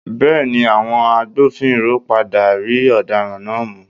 Bẹẹni, àwọn agbófinró padà rí ọ̀daràn náà mú.